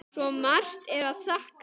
Svo margt er að þakka.